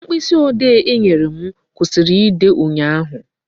Mkpịsị ode I nyere m kwụsịrị ide ụnyaahụ